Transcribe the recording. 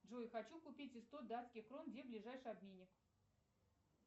джой хочу купить сто датских крон где ближайший обменник